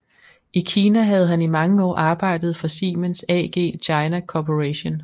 I Kina havde han i mange år arbejdet for Siemens AG China Corporation